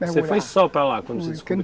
Você foi só para lá quando você desco?